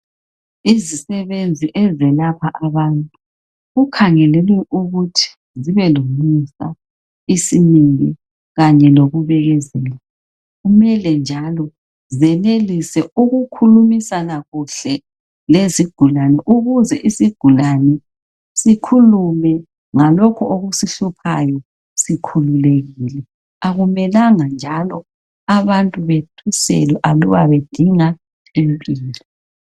Izisebenzi ezelapha abantu kukhangelelwe ukuthi zibe lomusa isimilo kanye lokubekezela .Kumele njalo zenelise uku khulumisana kuhle lezigulane ukuze isigulane sikhulume ngalokho okusihluphayo sikhululekile. Akumelanga njalo abantu bethuselwe aluba bedinga impilo.